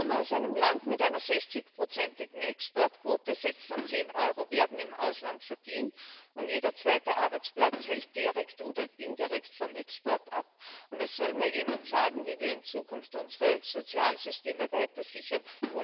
Ich komme aus einem Land mit einer 60 igen Exportquote, sechs von zehn Euro werden im Ausland verdient, und jeder zweite Arbeitsplatz hängt direkt oder indirekt vom Export ab, und es soll mir jemand sagen, wie wir in Zukunft ohne Export unsere Sozialsysteme weiter sichern.